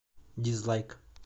дизлайк